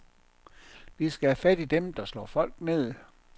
Vi skal have fat i dem, der slår folk ned.